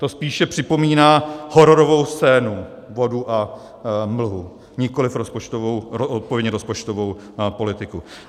To spíše připomíná hororovou scénu, vodu a mlhu, nikoliv odpovědně rozpočtovou politiku.